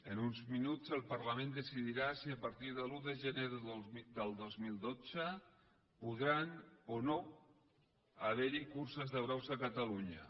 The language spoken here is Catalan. en uns minuts el parlament decidirà si a partir de l’un de gener del dos mil dotze podran o no haver hi curses de braus a catalunya